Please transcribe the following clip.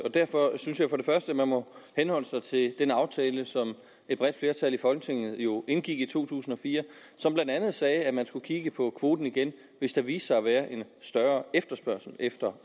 og derfor synes jeg at man må henholde sig til den aftale som et bredt flertal i folketinget jo indgik i to tusind og fire og som blandt andet sagde at man skulle kigge på kvoten igen hvis der viste sig at være en større efterspørgsel efter